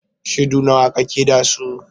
Shaidu nawa kake da su?